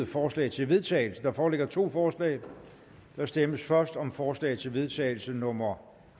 forslag til vedtagelse der foreligger to forslag der stemmes først om forslag til vedtagelse nummer